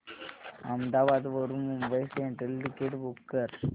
अहमदाबाद वरून Mumbai central ticket book कर